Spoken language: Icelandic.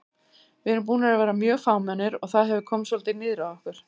Við erum búnir að vera mjög fámennir og það hefur komið svolítið niður á okkur.